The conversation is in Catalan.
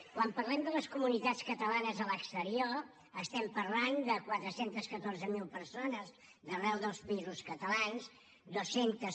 quan parlem de les comunitats catalanes a l’exterior estem parlant de quatre cents i catorze mil persones d’arreu dels països catalans dues centes